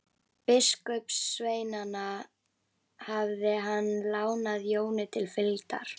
Biskupssveinana hafði hann lánað Jóni til fylgdar.